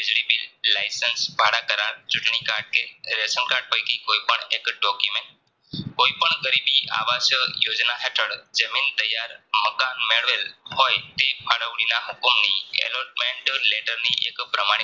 ચૂંટણી card કે ration card પેકી કોઈ પણ એક Document કોઈપણ ગરીબી આવાસ યોજના હેઠળ જમીન ત્યાર મકાન મેળવેલ હોય તે ફાળવણીના હુકમની Error ment letter ની પ્રમાણિત